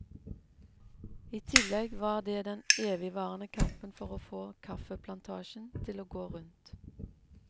I tillegg var det den evigvarende kampen for å få kaffeplantasjen til å gå rundt.